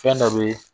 Fɛn dɔ be